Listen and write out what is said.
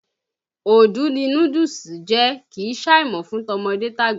Odù ni núdúùsù jẹ́, kì í ṣàìmọ̀ fún tọmọdé tàgbà.